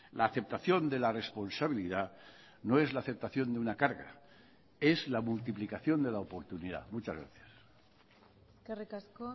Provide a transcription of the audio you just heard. la aceptación de la responsabilidad no es la aceptación de una carga es la multiplicación de la oportunidad muchas gracias eskerrik asko